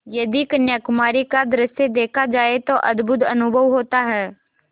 यदि कन्याकुमारी का दृश्य देखा जाए तो अद्भुत अनुभव होता है